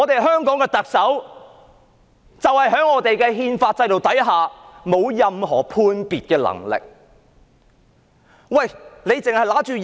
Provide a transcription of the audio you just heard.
香港的特首在憲法制度之下，沒有任何判別的能力。